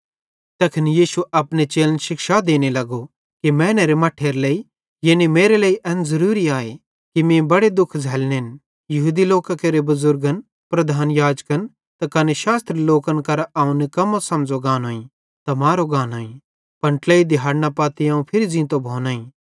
तैखन यीशु अपने चेलन शिक्षा देनो लगो कि मैनेरे मट्ठेरे लेइ यानी मेरे लेइ एन ज़रूरी आए कि मीं बड़े दुख झ़ल्लनेन यहूदी लोकां केरे बुज़ुर्गन प्रधान याजकन त कने शास्त्री लोकन केरां अवं निकम्मो समझ़ो गानोईं त मारो गानोईं पन ट्लेइ दिहाड़ना पत्ती अवं फिरी ज़ींतो भोनोईं